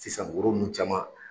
Sisan woro nunnu caman